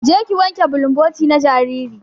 Je ki wanke bulumboti na jariri.